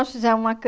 nós fizemos uma